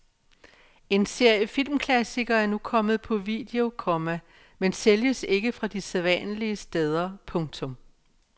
En serie filmklassikere er nu kommet på video, komma men sælges ikke fra de sædvanlige steder. punktum